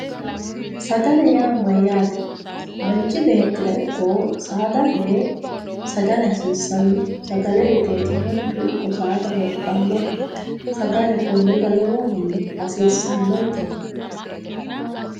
Sagale yaa mayyaate manchi beettira ikko saadate sagale hasiissanno sagale iteeti manchu ikko saada lophannohu sagale konnira lowohunni hasiissannonkete